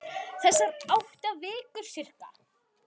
Þessar átta vikur, sirka.